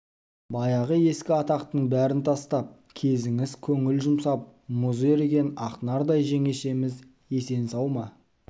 баяғы ескі атақтың бәрін тастап кезіңіз көңіл жұмсап мұзы еріген ақнардай жеңешеміз есен-сау ма